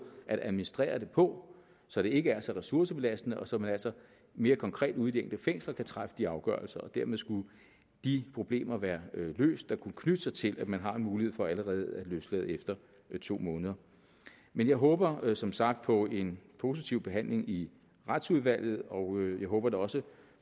at administrere det på så det ikke er så ressourcebelastende og så man altså mere konkret ude i de enkelte fængsler kan træffe de afgørelser dermed skulle de problemer være løst der kunne knytte sig til at man har en mulighed for allerede at løslade efter to måneder men jeg håber som sagt på en positiv behandling i retsudvalget og jeg håber da også